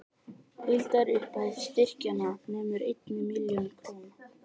Heildarupphæð styrkjanna nemur einni milljón króna